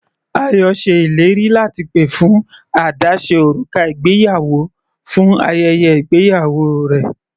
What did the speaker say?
Ayọ ṣe ìlérí láti pè fún àdáse òrùka ìgbéyàwó fún ayẹyẹ ìgbéyàwó rẹ̀.